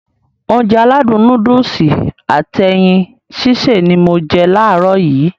Ounjẹ aládùn nóódùsì at ẹyin sísè ni mo je làárọ̀ yii